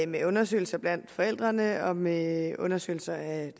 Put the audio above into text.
med undersøgelser blandt forældrene og med undersøgelser af